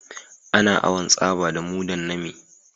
Ana awan tsaba da mudan nami